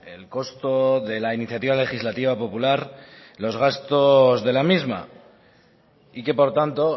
el costo de la iniciativa legislativa popular los gastos de la misma y que por tanto